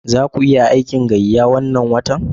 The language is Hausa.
Za ku yi aikin gayya wannan watan?